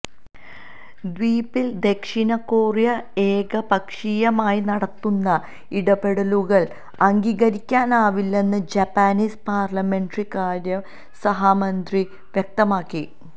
ദ്വീപില് ദക്ഷിണ കൊറിയ ഏകപക്ഷീയമായി നടത്തുന്ന ഇടപെടലുകള് അംഗീകരിക്കാനാവില്ലെന്ന് ജാപ്പനീസ് പാര്ലമെന്ററി കാര്യ സഹ മന്ത്രി വ്യക്തമാക്കി